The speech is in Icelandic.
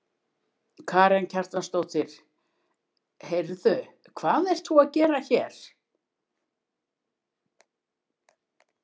Karen Kjartansdóttir: Heyrðu hvað ert þú að gera hér?